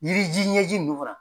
Yiri ji ɲɛji nunnu fana .